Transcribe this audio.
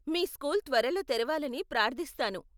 మీ school త్వరలో తెరవాలని ప్రార్ధిస్తాను.